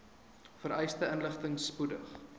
vereiste inligting spoedig